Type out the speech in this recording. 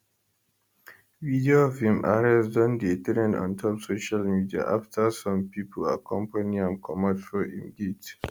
video of im arrest don dey trend ontop social media afta some pipo accompany am comot for im gate